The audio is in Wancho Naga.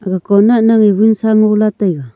aga conat ningye wunsa ngola taiga.